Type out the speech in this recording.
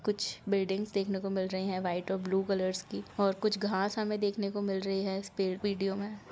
कुछ बिल्डिंग्स देखने को मिल रही है वाइट और ब्लू कलर की कुछ घास हमे देखने को मिल रही हैं इस पेड़ विडिओ में--